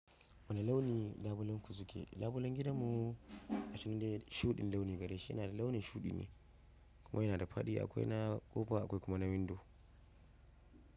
Wane launi labulen ku suke? Labulen gidanmu a can dai shuɗin launi gare shi yana da launin shuɗi ne kuma yana da faɗi akwai na ƙofa akwai kuma na windo.